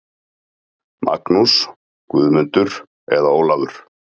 Magnús, Guðmundur eða Ólafur.